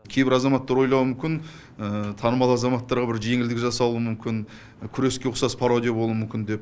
кейбір азаматтар ойлауы мүмкін танымал азаматтарға бір жеңілдік жасауы мүмкін күреске ұқсас пародия болуы мүмкін деп